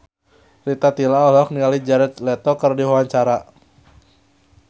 Rita Tila olohok ningali Jared Leto keur diwawancara